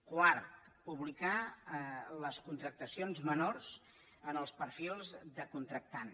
quart publicar les contractacions menors en els perfils de contractant